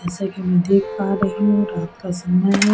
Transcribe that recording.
जैसा कि में देख पा रही हुं रात का समय है।